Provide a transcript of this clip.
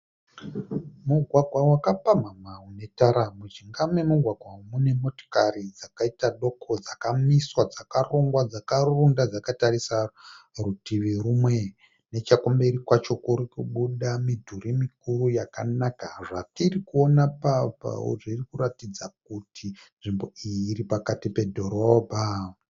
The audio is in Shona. Mugwagwa wakapamhamha une tara. Mujinga memugwagwa umu mune motokari dzakaita doko dzakamiswa dzakarongwa dzakaronda dzakatarisa rutivi rumwe. Nechekumberi kwacho kuri kubuda midhuri mikuru yakanaka. Zvatirikuona apa zvirikuratidza kuti nzvimbo iyi iri pakati pedhorobha.